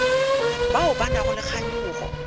bao ba nago le kganyogo